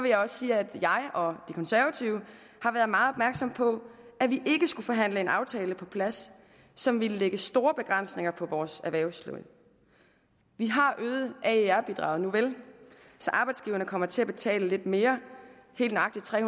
jeg også sige at jeg og de konservative har været meget opmærksomme på at vi ikke skulle forhandle en aftale på plads som ville lægge store begrænsninger på vores erhvervsliv vi har øget aer bidraget nuvel så arbejdsgiverne kommer til at betale lidt mere helt nøjagtig tre